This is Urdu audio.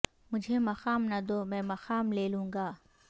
مجھے مقام نہ دو میں مقام لے لوں گا